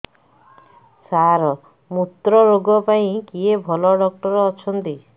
ସାର ମୁତ୍ରରୋଗ ପାଇଁ କିଏ ଭଲ ଡକ୍ଟର ଅଛନ୍ତି